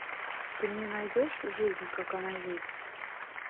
ты мне найдешь жизнь как она есть